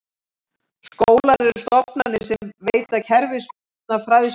Skólar eru stofnanir sem veita kerfisbundna fræðslu.